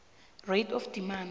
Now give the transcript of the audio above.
rate of demand